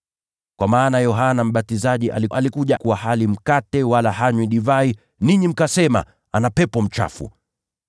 Kwa maana Yohana Mbatizaji alikuja, alikuwa hali mkate wala hanywi divai, nanyi mkasema, ‘Yeye ana pepo mchafu.’